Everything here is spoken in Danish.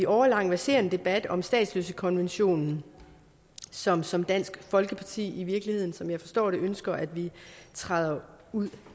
årelang verserende debat om statsløsekonventionen som som dansk folkeparti i virkeligheden som jeg forstår det ønsker at vi træder ud